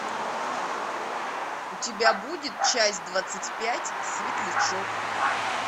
у тебя будет часть двадцать пять светлячок